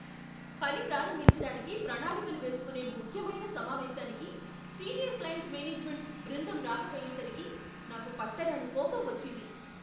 పని ప్రారంభించటానికి ప్రణాళికలు వేసుకోనే ముఖ్యమైన సమావేశానికి సీనియర్ క్లయింట్ మేనేజ్మెంట్ బృందం రాకపోయేసరికి నాకు పట్టరాని కోపం వచ్చింది.